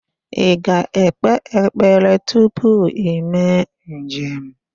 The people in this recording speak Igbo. Ị ga-ekpe ekpere tupu ime njem?